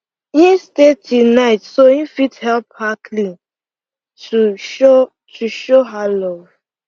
him stay till night so him fit help her clean to show her show her love